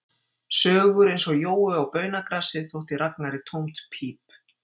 Sögur eins og Jói og baunagrasið þótti Ragnari tómt píp